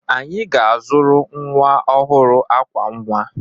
Anyị ga-azụrụ nwa ọhụrụ ákwà nwa.